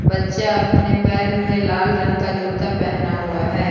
बच्चा अपने पैर में लाल रंग का जूता पहना हुआ है।